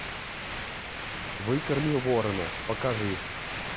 выкорми ворона покажи